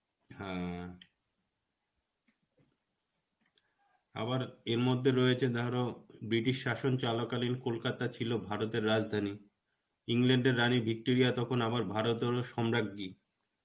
হ্যাঁ, আবার এর মধ্যে রয়েছে ধরো, ব্রিটিশ শাসন চলা কালীন, কলকাতা ছিলো ভারতের রাজধানী. England এর রানী Victoria তখন আবার ভারতেরও সম্রাজ্ঞ্য়ী.